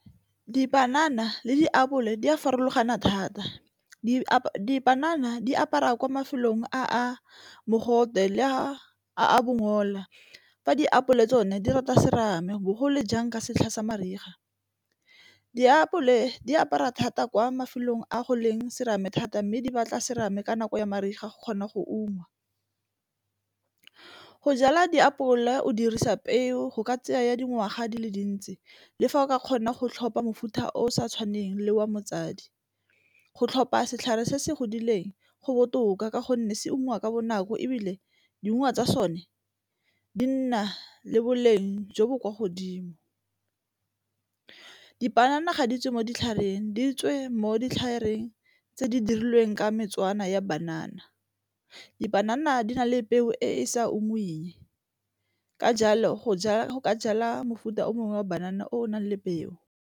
Dipanana le diapole di a farologana thata. Dipanana di apara kwa mafelong a mogote le a a bongola fa diapole tsone di rata serame bogolo jang ka setlha sa mariga. Diapole di apara thata kwa mafelong a go leng serame thata mme di batla serame ka nako ya mariga go kgona go ungwa. Go jala diapole o dirisa peo go ka tseya ya dingwaga di le dintsi le fa o ka kgona go tlhopha mofuta o sa tshwaneng le wa motsadi. Go tlhopha setlhare se se godileng go botoka ka gonne se ungwa ka bonako ebile diungwa tsa sone di nna le boleng jo bo kwa godimo. Dipanana ga di tswe mo ditlhareng di tswe mo ditlhareng tse di dirilweng ka ya banana. Dipanana di na le peo e e sa ungweng ka jalo go ka jala mofuta o mongwe wa banana o o nang le peo.